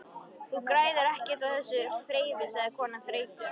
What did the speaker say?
Þú græðir ekkert á þessu þrefi sagði konan þreytu